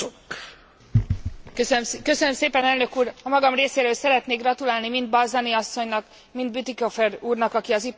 A magam részéről szeretnék gratulálni mind Balzani asszonynak, mind Bütikofer úrnak, aki az Ipari Bizottságban jelentéstévő volt.